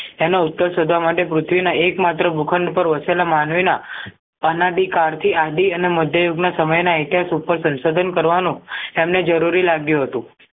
તેનો ઉત્તર શોધવા માટે પૃથ્વીના એક માત્ર ભૂખંડ વસેલા માનવીના અનાધિકાળથી આદિ અને મધ્ય યુગ ના સમયના અત્યાંશ ઉપર શંશોધન કરવાનો તેમને જરૂરી લાગ્યું હતું